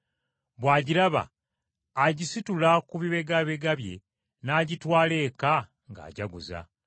Bw’agiraba, agisitula ku bibegabega bye n’agitwala eka ng’ajaguza.